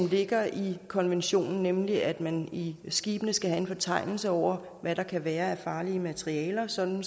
ligger i konventionen nemlig at man i skibene skal have en fortegnelse over hvad der kan være af farlige materialer sådan